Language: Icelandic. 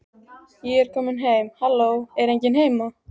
Ég er komin heim halló, er enginn heima?